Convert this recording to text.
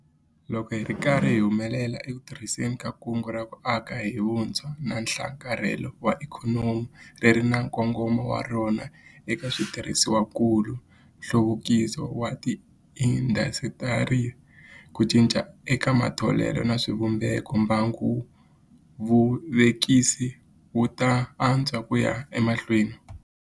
Loko hi ri karhi hi humelela eku tirhiseni ka Kungu ra ku Aka hi Vutshwa na Nhlakarhelo wa Ikhonomi - ri ri na nkongomo wa rona eka switirhisiwakulu, nhluvukiso wa tiindasitiri, ku cinca eka matholelo na swivumbeko - mbangu wa vuvekisi wu ta antswa ku ya emahlweni.